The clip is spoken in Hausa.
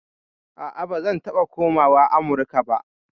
A'a, ba zan taɓa komawa Amurka ba.